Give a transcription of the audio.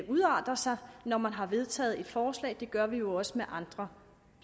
udarter sig når man har vedtaget et forslag det gør vi jo også med andre